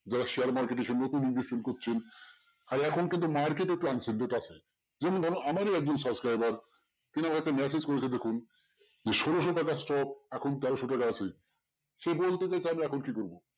যারা share market এ নতুন investment করছেন আর এখন কিন্তু market একটু আছে যেমন ধরুন আমারই একজন subscriber তিনি আমাকে message করেছে দেখুন যে ষোলোশো টাকার stock এখন তেরোশো টাকা আছে সে বলছে তাহলে এখন আমি এখন কি করবো?